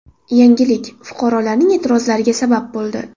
Yangilik fuqarolarning e’tirozlariga sabab bo‘ldi.